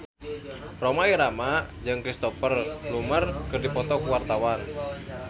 Rhoma Irama jeung Cristhoper Plumer keur dipoto ku wartawan